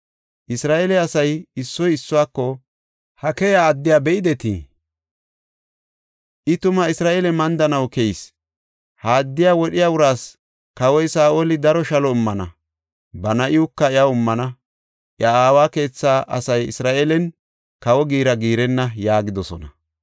Isra7eele asay issoy issuwako, “Ha keyiya addiya be7idetii? I tuma Isra7eele mandanaw keyis. Ha addiya wodhiya uraas kawoy Saa7oli daro shalo immana; ba na7iwuka iyaw immana; iya aawa keethaa asay Isra7eelen kawo giira giirenna” yaagidosona.